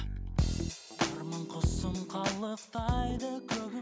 арман құсым қалықтайды